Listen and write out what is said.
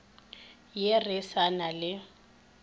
ye re sa na le